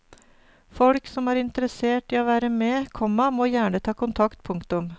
Folk som er interessert i å være med, komma må gjerne ta kontakt. punktum